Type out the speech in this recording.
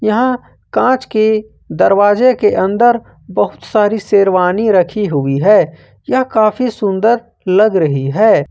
यहां कांच के दरवाजे के अंदर बहुत सारी शेरवानी रखी हुई है यह काफी सुंदर लग रही है।